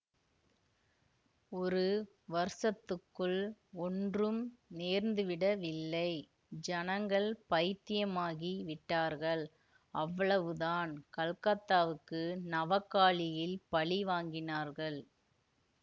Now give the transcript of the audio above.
ஒரு வருஷத்துக்குள் ஒன்றும் நேர்ந்துவிடவில்லை ஜனங்கள் பைத்தியமாகிவிட்டார்கள் அவ்வளவுதான் கல்கத்தாவுக்கு நவகாளியில் பழி வாங்கினார்கள்